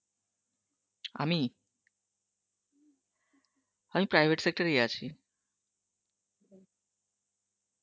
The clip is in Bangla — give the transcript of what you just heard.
আমি, আমি private sector এই আছি